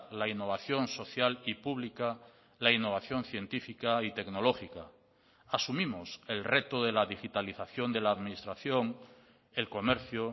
la innovación social y pública la innovación científica y tecnológica asumimos el reto de la digitalización de la administración el comercio